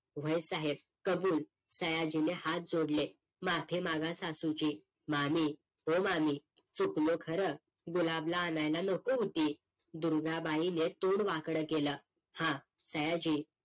व्हय साहेब कबूल सयाजीने हात जोडले माफी मागा सासूची मामी ओ मामी चुकलो खर गुलाबला आणायला नको होती दुर्गा बाईन तोंड वाकडं केलं हां सयाजी